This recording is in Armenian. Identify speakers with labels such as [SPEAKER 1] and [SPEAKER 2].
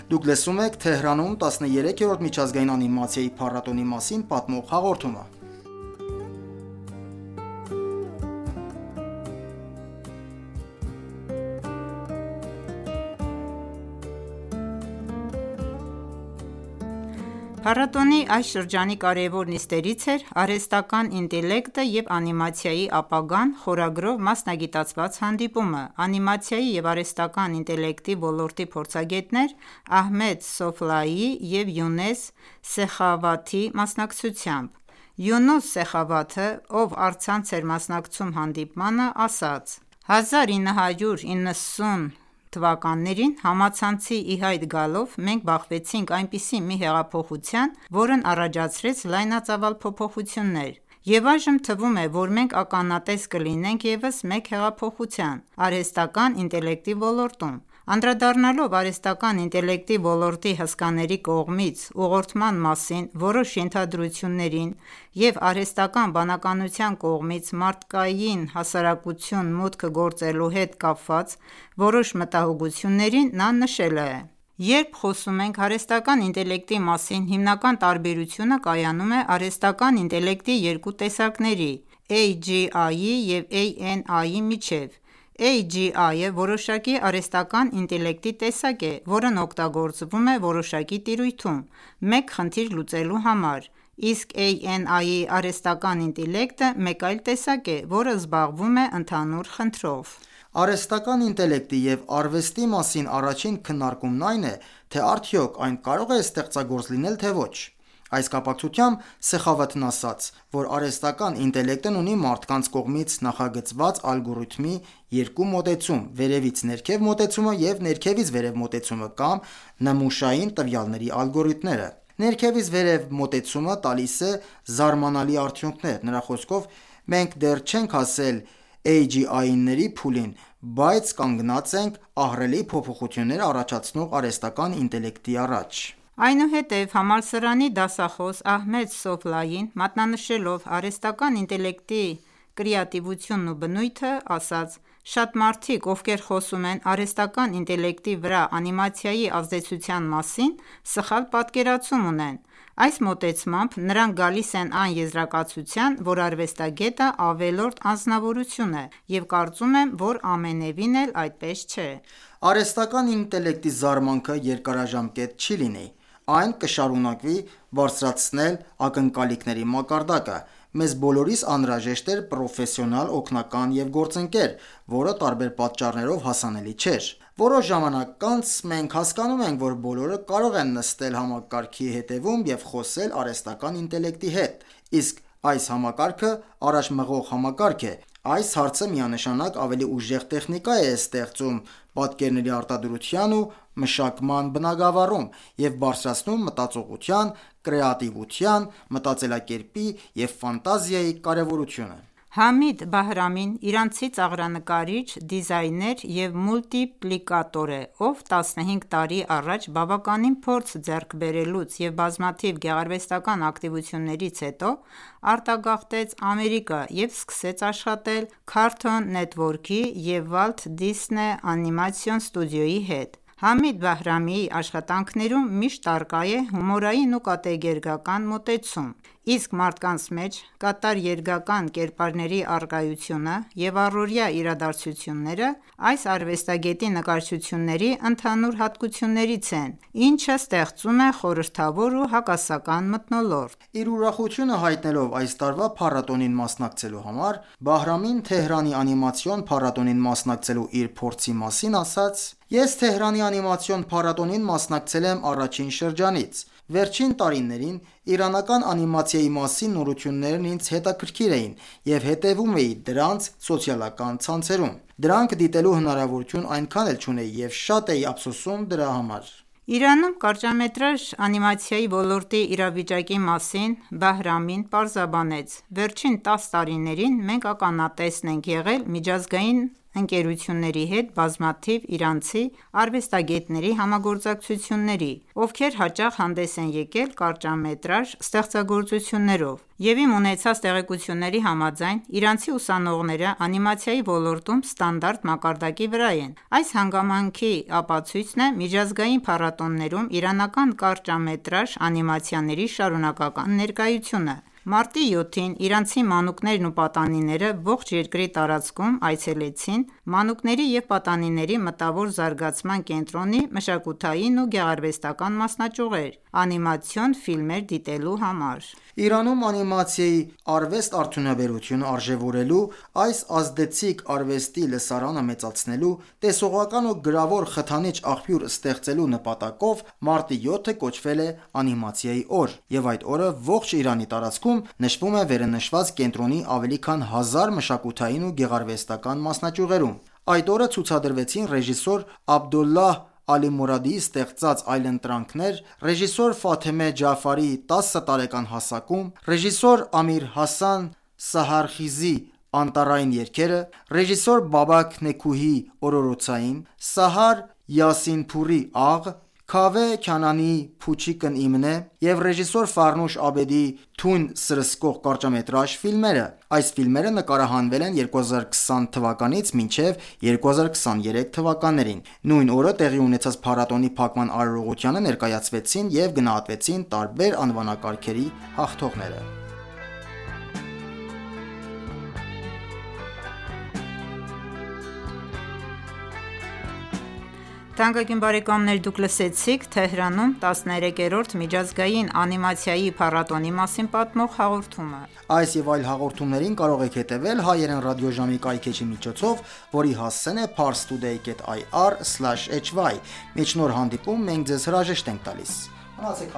[SPEAKER 1] դուք լսում եք «Թեհրանում 13-րդ միջազգային անիմացիայի փառատոն»֊ի մասին պատմող հաղորդումը։
[SPEAKER 2] Փառատոնի այս շրջանի կարևոր նիստերից էր «Արհեստական ​​ինտելեկտը և անիմացիայի ապագան» խորագրով մասնագիտացված հանդիպումը՝ անիմացիայի և արհեստական ​​ինտելեկտի ոլորտի փորձագետներ Ահմեդ Սոֆլայիի և Յունես Սեխավաթի մասնակցությամբ։ Յունուս Սեխավաթը, ով առցանց էր մասնակցում հանդիպմանը, ասաց. «1990-ականներին, համացանցի ի հայտ գալով, մենք բախվեցինք այնպիսի մի հեղափոխության, որն առաջացրեց լայնածավալ փոփոխություններ, և այժմ թվում է, որ մենք ականատես կլինենք ևս մեկ հեղափոխության՝ արհեստական ​​ինտելեկտի ոլորտում։ Անդրադառնալով արհեստական ​​ինտելեկտի ոլորտի հսկաների կողմից ուղղորդման մասին որոշ ենթադրություններին և արհեստական ​​բանականության կողմից մարդկային հասարակություն մուտք գործելու հետ կապված որոշ մտահոգություններին, նա նշեց. «Երբ խոսում ենք արհեստական ​​ինտելեկտի մասին, հիմնական տարբերությունը կայանում է արհեստական ​​ինտելեկտի երկու տեսակների՝ AGI-ի և ANI-ի միջև։ AGI֊ը որոշակի արհեստական ​​ինտելեկտի տեսակ է, որն օգտագործվում է որոշակի տիրույթում մեկ խնդիր լուծելու համար, իսկ ANI արհեստական ​​ինտելեկտը մեկ այլ տեսակ է, որը զբաղվում է ընդհանուր խնդրով:
[SPEAKER 1] Արհեստական ​​ինտելեկտի և արվեստի մասին առաջին քննարկումն այն է, թե արդյոք այն կարող է ստեղծագործ լինել, թե ոչ: Այս կապակցությամբ Սեխավաթն ասաց, որ արհեստական ​​ինտելեկտն ունի մարդկանց կողմից նախագծված ալգորիթմի երկու մոտեցում՝ «վերևից ներքև» մոտեցումը և «ներքևից վերև» մոտեցումը կամ նմուշային տվյալների ալգորիթմները։ «Ներքևից վերև» մոտեցումը տալիս է զարմանալի արդյունքներ: Նրա խոսքով, մենք դեռ չենք հասել AGI-ների փուլին, բայց կանգնած ենք ահռելի փոփոխություններ առաջացնող արհեստական ​​ինտելեկտի առաջ։
[SPEAKER 2] Այնուհետև համալսարանի դասախոս Ահմեդ Սոֆլային, մատնանշելով արհեստական ​​ինտելեկտի կրեատիվությունն ու բնույթը, ասաց. «Շատ մարդիկ, ովքեր խոսում են արհեստական ​​ինտելեկտի վրա անիմացիայի ազդեցության մասին, սխալ պատկերացում ունեն. Այս մոտեցմամբ նրանք գալիս են այն եզրակացության, որ արվեստագետը ավելորդ անձնավորություն է և կարծում եմ, որ ամենևին էլ այդպես չէ»։
[SPEAKER 1] Արհեստական ​​ինտելեկտի զարմանքը երկարաժամկետ չի լինի. Այն կշարունակի բարձրացնել ակնկալիքների մակարդակը։ Մեզ բոլորիս անհրաժեշտ էր պրոֆեսիոնալ օգնական և գործընկեր, որը տարբեր պատճառներով հասանելի չէր։ Որոշ ժամանակ անց մենք հասկանում ենք, որ բոլորը կարող են նստել համակարգի հետևում և խոսել արհեստական ​​ինտելեկտի հետ, իսկ այս համակարգը առաջ մղվող համակարգ է։ Այս հարցը միանշանակ ավելի ուժեղ տեխնիկա է ստեղծում պատկերի արտադրության ու մշակման բնագավառում, և բարձրացնում մտածողության, կրեատիվության, մտածելակերպի և ֆանտազիայի կարևորությունը:
[SPEAKER 2] Համիդ Բահրամին իրանցի ծաղրանկարիչ, դիզայներ և մուլտիպլիկատոր է, ով 15 տարի առաջ բավականին փորձ ձեռք բերելուց և բազմաթիվ գեղարվեստական ​​ակտիվություններից հետո, արտագաղթեց Ամերիկա և սկսեց աշխատել «Cartoon Network»-ի և «Walt Disney Animation Studio»-ի հետ։ Համիդ Բահրամիի աշխատանքներում միշտ առկա է հումորային ու կատակերգական մոտեցումը, իսկ մարդկանց մեջ կատակերգական կերպարների առկայությունը և առօրյա իրադարձությունները այս արվեստագետի նկարչությունների ընդհանուր հատկություններից են, ինչը ստեղծում է խորհրդավոր ու հակասական մթնոլորտ։ Իր ուրախությունը հայտնելով
[SPEAKER 1] այս տարվա փառատոնին մասնակցելու համար՝ Բահրամին Թեհրանի անիմացիոն փառատոնին մասնակցելու իր փորձի մասին ասաց. «Ես Թեհրանի անիմացիոն փառատոնին մասնակցել եմ առաջին շրջանից։ Վերջին տարիներին իրանական անիմացիայի մասին նորություններն ինձ հետաքրքիր էին և հետևում էի դրանց սոցիալական ցանցերում։ Դրանք դիտելու հնարավորությունն այնքան էլ չունեի և շատ էի ափսոսում դրա համար»։
[SPEAKER 2] Իրանում կարճամետրաժ անիմացիայի ոլորտի իրավիճակի մասին Բահրամին պարզաբանեց. «Վերջին 10 տարիներին մենք ականատես ենք եղել միջազգային ընկերությունների հետ բազմաթիվ իրանցի արվեստագետների համագործակցությունների, ովքեր հաճախ հանդես են եկել կարճամետրաժ ստեղծագործություններով, և իմ ունեցած տեղեկությունների համաձայն, իրանցի ուսանողները անիմացիայի ոլորտում ստանդարտ մակարդակի վրա են: Այս հանգամանքի ապացույցն է միջազգային փառատոներում իրանական կարճամետրաժ անիմացիաների շարունակական ներկայությունը։ Մարտի 7-ին իրանցի մանուկներն ու պատանիները ողջ երկրի տարածքում այցելեցին Մանուկների և պատանիների մտավոր զարգացման կենտրոնի մշակութային ու գեղարվեստական ​​մասնաճյուղեր՝ անիմացիոն ֆիլմեր դիտելու համար։ Իրանում, անիմացիայի
[SPEAKER 1] արվեստ֊արդյունաբերությունը արժեվորելու, այս ազդեցիկ արվեստի լսարանը մեծացնելու, տեսողական ու գրավոր խթանիչ աղբյուր ստեղծելու նպատակով, Մարտի 7-ը կոչվել է «Անիմացիայի օր» և այդ օրը ողջ Իրանի տարածքում նշվում է վերընշված կենտրոնի ավելի քան 1000 մշակութային ու գեղարվեստական ​​մասնաճյուղերում։ Այդ օրը ցուցադրվեցին ռեժիսոր Աբդուլլահ Ալիմուրադի ստեղծած «Այլընտրանքներ», ռեժիսոր Ջաֆարիի «Տասը տարեկան հասակում», ռեժիսոր Ամիրհասան Սահարխիզի «Անտառային երգերը», ռեժիսոր Բաբաք Նեքուիի «Օրորոցային», Սահար Յասինփուրի «Աղ», Քավեհ Քանանիի «Փուչիկն իմն է» և ռեժիսոր Ֆարնուշ Աբեդիի «Թույն սրսկող» կարճամետրաժ ֆիլմերը։ Այս ֆիլմերը նկարահանվել են 2020-ից 2023 թվականներին: Նույն օրը տեղի ունեցած փառատոնի փակման արարողությանը ներկայացվեցին և գնահատվեցին տարբեր անվանակարգերի հաղթողները։
[SPEAKER 2] Թանկագին բարեկամներ, դուք լսեցիք «Թեհրանում 13-րդ միջազգային անիմացիայի փառատոն»֊ի մասին պատմող հաղորդումը։
[SPEAKER 1] Այս և այլ հաղորդումներին կարող եք հետևել հայրեն ռադիոժամի կայքէջի միջոցով, որի հասցեն է ParsToday.ir/hy Մինչ նոր հանդիպում, մենք ձեզ հրաժեշտ ենք տալիս։ Մնացեք